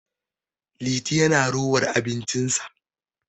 Liti yana rowar abincinsa